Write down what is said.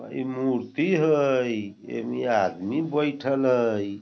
इ मूर्ति हई ऐमे आदमी बईठल हई |